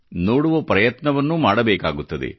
ನೋಡುವ ಪ್ರಯತ್ನವನ್ನೂ ಮಾಡಬೇಕಾಗುತ್ತದೆ